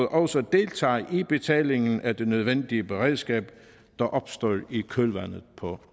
også deltager i betalingen af det nødvendige beredskab der opstår i kølvandet på